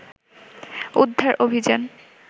উদ্ধার অভিযান